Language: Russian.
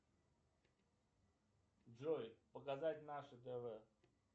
джой показать наше тв